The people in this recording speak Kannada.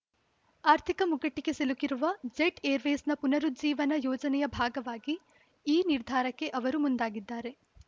ಆರ್ಥಿಕ ಮುಗ್ಗಟ್ಟಿಗೆ ಸಿಲುಕಿರುವ ಜೆಟ್‌ಏರ್‌ವೇಸ್‌ನ ಪುನರುಜ್ಜೀವನ ಯೋಜನೆಯ ಭಾಗವಾಗಿ ಈ ನಿರ್ಧಾರಕ್ಕೆ ಅವರು ಮುಂದಾಗಿದ್ದಾರೆ